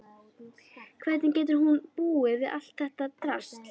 Hvernig getur hún búið við allt þetta drasl?